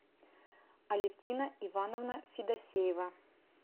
алевтина ивановна федосеева